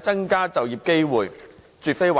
增加就業機會，這絕非壞事。